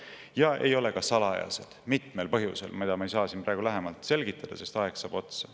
Ja need ei ole ka salajased mitmel põhjusel, mida ma ei saa siin praegu lähemalt selgitada, sest aeg saab otsa.